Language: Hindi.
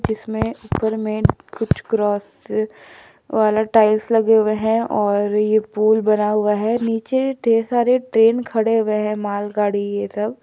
इसमें समय ऊपर में कुछ क्रॉस वाले टाइल्स लगे हैं और ये पुल बना हुआ है नीचे ढेर सारे ट्रेन खड़े हुए हैं मालगाड़ी ये सब।